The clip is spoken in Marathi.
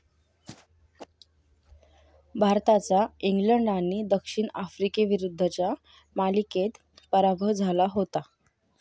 भारताचा इंग्लंड आणि दक्षिण आफ्रिकीविरुद्धच्या मालिकेत पराभव झाला होता.